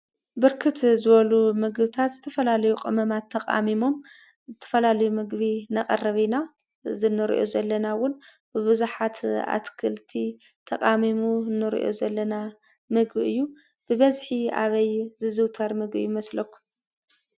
ብርክት ዝበሉ ምግቢታት ዝተፈላለዩ ቅመማት ተቃሚሞም ዝተፋላለዩ ምግቢ ነቅርብ እና። እዚ እነርኦ ዘለና እውን ብቡዛሓት ኣትክልቲ ተኣሚሙ እነርኦ ዘላ ምግቢእዩ። ብብዚሕ ኣበይ ዝዝዉተር ይመስለኩም?